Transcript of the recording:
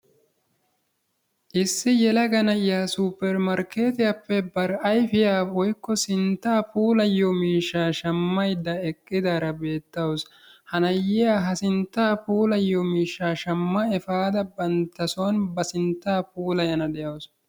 Issi yelaga na'iyaa supermarketiyaappe bari ayfiyaa woykko sinttaa puulayiyoo shammayda eqqidaara beettawus. Ha na'iyaa ha sinttaa puulayiyoo mishshaa shaamma efaada bantta soon ba sinttaa puulayana de'awus.